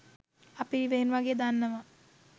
අපි ඉවෙන් වගේ දන්නවා